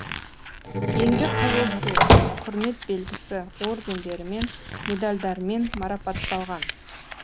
еңбек қызыл ту құрмет белгісі ордендерімен медальдармен марапатталған